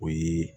O ye